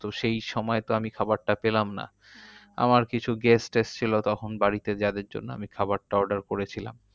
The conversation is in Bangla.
তো সেই সময় তো আমি খাবারটা পেলাম না আমার কিছু guest এসেছিলো তখন বাড়িতে যাদের জন্য আমি খাবারটা order করেছিলাম।